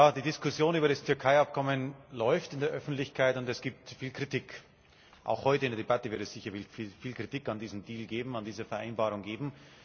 Die Diskussion über das Türkei Abkommen läuft in der Öffentlichkeit, und es gibt viel Kritik. Auch heute in der Debatte wird es sicherlich viel Kritik an diesem Deal, an dieser Vereinbarung geben.